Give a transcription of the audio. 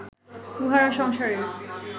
উহারা সংসারের